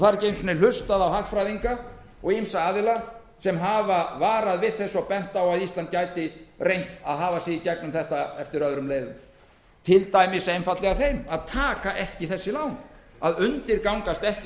ekki er einu sinni hlustað á hagfræðinga og ýmsa aðila sem hafa varað við þessu og bent á að ísland gæti reynt að hafa sig í gengum þetta eftir öðrum leiðum til dæmis einfaldlega þeim að taka ekki þessi lán að undirgangast ekki